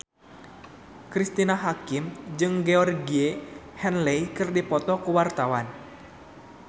Cristine Hakim jeung Georgie Henley keur dipoto ku wartawan